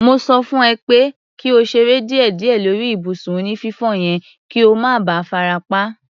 Mo sọ fún ẹ pé kí o ṣeré díẹ̀díẹ̀ lórí ibùsùn onífífò yẹn kí o má ba farapa.